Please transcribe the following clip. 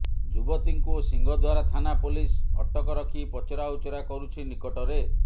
ଯୁବତୀଙ୍କୁ ସିଂହଦ୍ୱାର ଥାନା ପୋଲିସ ଅଟକ ରଖି ପଚରା ଉଚରା କରୁଛି ନିକଟରେ